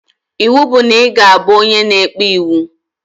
Iwu bụ na iga abụ onye na-ekpe iwu